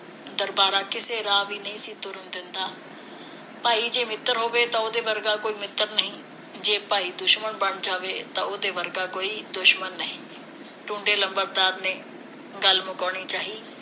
ਦਰਬਾਰਾ ਕਿਸੇ ਰਾਹ ਵੀ ਨਹੀ ਤੁਰਨ ਦਿੰਦਾ ਭਾਈ ਜੇ ਮਿੱਤਰ ਹੋਵੇ ਤਾਂ ਉਹਦੇ ਵਰਗਾ ਕੋਈ ਮਿੱਤਰ ਨਹੀ ਜੇ ਭਾਈ ਦੁਸ਼ਮਣ ਬਣ ਜਾਵੇ ਤਾਂ ਉਹਦੇ ਵਰਗਾ ਕੋਈ ਦੁਸ਼ਮਣ ਨਹੀ ਟੁੰਡੇ ਲੰਬੜਦਾਰ ਨੇ ਗੱਲ ਮੁਕਾਉਣੀ ਚਾਹੀ